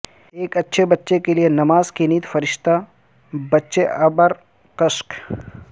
ایک اچھے بچے کے لئے نماز کی نیند فرشتہ بچے ابرکشک